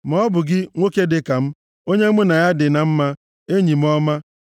Maọbụ gị, nwoke dịka m, onye mụ na ya dị na mma, enyi m ọma,